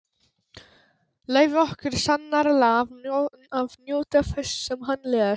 Leyfir okkur sannarlega að njóta þess sem hann les.